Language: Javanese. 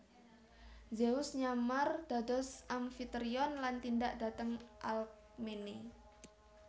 Zeus nyamar dados Amfitrion lan tindak dhateng Alkmene